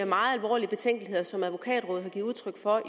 meget alvorlige betænkeligheder som advokatrådet har givet udtryk for